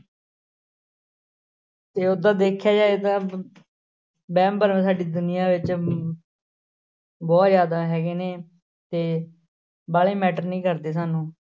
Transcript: ਤੇ ਓਦਾਂਂ ਦੇਖਿਆ ਜਾਏ ਤਾਂ ਵਹਿਮ ਭਰਮ ਸਾਡੀ ਦੁਨੀਆਂ ਵਿੱਚ ਅਮ ਬਹੁਤ ਜ਼ਿਆਦਾ ਹੈਗੇ ਨੇ ਤੇ ਵਾਲੇ matter ਨੀ ਕਰਦੇ ਸਾਨੂੰ।